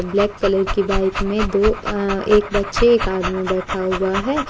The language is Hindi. ब्लैक कलर की बाइक में दो य एक बच्चे एक आदमी बैठा हुआ है।